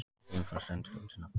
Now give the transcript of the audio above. Geimfar stendur undir nafni